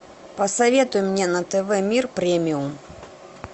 посоветуй мне на тв мир премиум